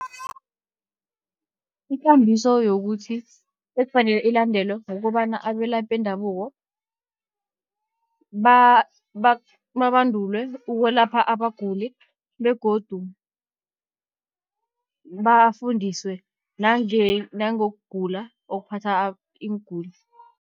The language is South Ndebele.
Ikambiso yokuthi ekufanele ilandelwe, kukobana abelaphi bendabuko babandulwe ukwelapha abaguli begodu bafundiswe nangokugula okuphatha iinguli.